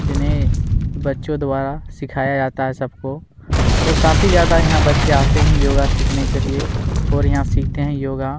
बच्चो द्वारा सिखाया जाता है सब को और काफी ज्यादा यहाँ बच्चे आते है योगा सिखने के लिए और यहाँ सीखते है योगा--